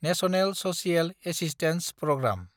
national social assistance programme